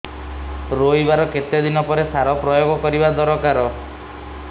ରୋଈବା ର କେତେ ଦିନ ପରେ ସାର ପ୍ରୋୟାଗ କରିବା ଦରକାର